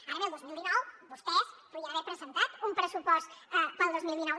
ara bé el dos mil dinou vostès podien haver presentat un pressupost per al dos mil dinou